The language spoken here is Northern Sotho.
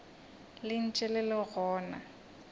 le ntše le le gona